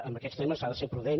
en aquests temes s’ha de ser prudent